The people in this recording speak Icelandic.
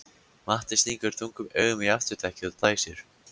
Matti stingur þungum augunum í afturdekkið og dæsir.